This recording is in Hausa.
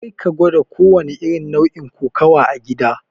Karka gwada kowanne irin nau'in kokawa a gida!